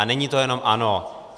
A není to jenom ANO.